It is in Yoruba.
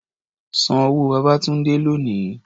San owó Babátúndé lónìí!